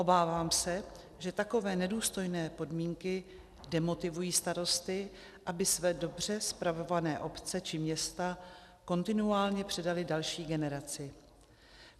Obávám se, že takové nedůstojné podmínky demotivují starosty, aby své dobře spravované obce či města kontinuálně předali další generaci.